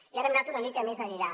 i ara hem anat una mica més enllà